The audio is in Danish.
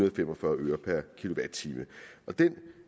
og fem og fyrre øre per kilowatt time den